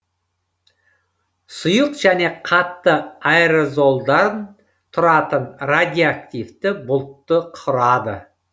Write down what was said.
сұйық және қатты аэрозолдан тұратын радиоактивті бұлтты құрады